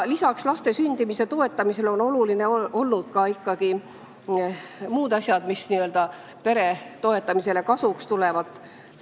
Lisaks laste sündimise toetamisele on olulised olnud ka muud asjad, mis peredele kasuks tulevad.